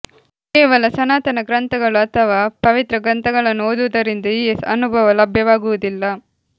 ಕೇವಲ ಸನಾತನ ಗ್ರಂಥಗಳು ಅಥವಾ ಪವಿತ್ರ ಗ್ರಂಥಗಳನ್ನು ಓದುವುದರಿಂದ ಈ ಅನುಭವ ಲಭ್ಯವಾಗುವುದಿಲ್ಲ